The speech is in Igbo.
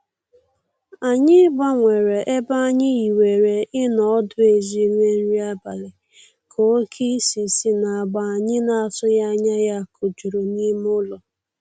Anyị gbanwere ebe anyị hiwere ịnọ ọdụ ezi rie nri abalị, ka oke isì si n'agba anyị na-atụghị anya ya kojuru n'ime ụlọ.